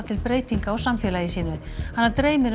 til breytinga á samfélagi sínu hana dreymir